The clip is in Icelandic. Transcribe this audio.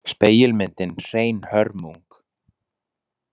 Spegilmyndin hrein hörmung.